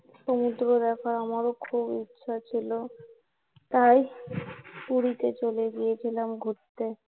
সমুদ্র দেখার আমার ও খুব ইচ্ছা ছিলো তাই পুরীতে চলে গিয়েছিলাম ঘুরতে